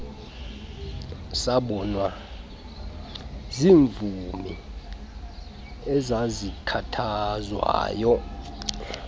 sabonwa ziimvumi ezazikhathazwayo